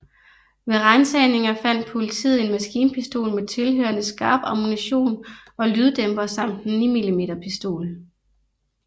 Ved ransagninger fandt politiet en maskinpistol med tilhørende skarp ammunition og lyddæmper samt en 9mm pistol